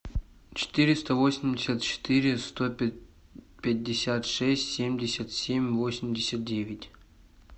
четыреста восемьдесят четыре сто пятьдесят шесть семьдесят семь восемьдесят девять